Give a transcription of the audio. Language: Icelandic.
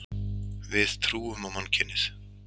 Við trúum á mannkynið.